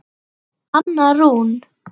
Anna Rún.